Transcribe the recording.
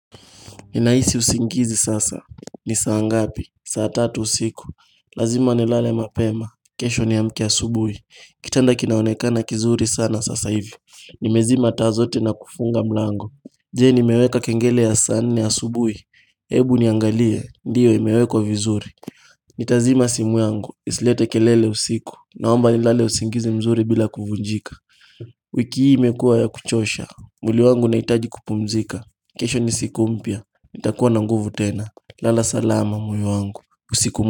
Ninahisi usingizi sasa, ni saangapi, saa tatu usiku Lazima nilale mapema, kesho niamke asubui Kitanda kinaonekana kizuri sana sasa hivi Nimezima taa zote na kufunga mlango Je ni meweka kengele ya saa nne asubuhi Hebu niangalie, ndiyo imewekwa vizuri Nitazima simu yangu, isilete kelele usiku Naomba nilale usingizi mzuri bila kuvunjika wiki hii imekua ya kuchosha, mwili wangu unahitaji kupumzika kesho nisikumpya, nitakuwa nanguvu tena Lala salama moyo wangu.